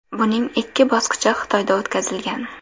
Buning ikki bosqichi Xitoyda o‘tkazilgan.